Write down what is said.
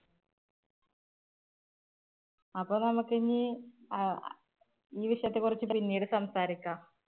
അപ്പൊ നമുക്ക് ഇനി അഹ് ഈ വിഷയത്തെ കുറിച്ച് പിന്നീട് സംസാരിക്കാം